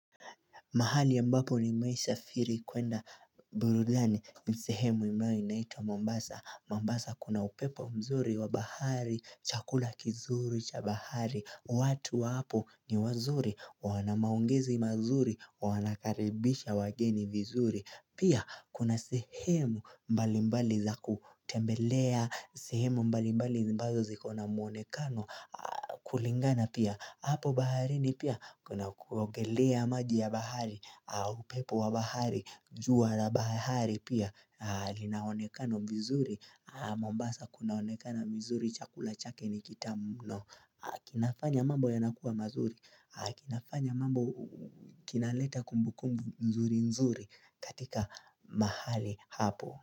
Mahali ambapo nimewahi safiri kuenda burudani ni sehemu ambayo inaitwa Mombasa. Mombasa kuna upepo mzuri wa bahari, chakula kizuri cha bahari. Watu wapo ni wazuri, wanamaongezi mazuri, wanakaribisha wageni vizuri. Pia kuna sehemu mbali mbali za kutembelea, sehemu mbali mbali ambazo ziko na muonekano kulingana pia. Hapo baharini pia kuna kuongelea maji ya bahari upepo wa bahari, jua la bahari pia linaonekana vizuri, mombasa kunaonekana vizuri chakula chake ni kitamu mno kinafanya mambo yanakuwa mazuri kinafanya mambo kinaleta kumbu kumbu nzuri nzuri katika mahali hapo.